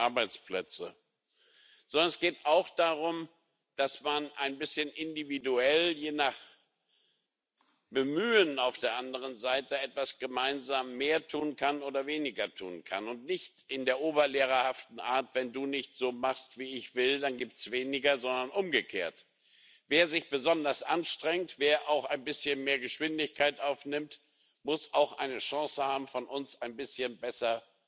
Arbeitsplätze, sondern es geht auch darum, dass man ein bisschen individuell, je nach Bemühen auf der anderen Seite, etwas gemeinsam mehr tun kann oder weniger tun kann und nicht in der oberlehrerhaften Art Wenn du nicht so machst, wie ich will, dann gibt es weniger, sondern umgekehrt Wer sich besonders anstrengt, wer auch ein bisschen mehr Geschwindigkeit aufnimmt, muss auch eine Chance haben, von uns ein bisschen besser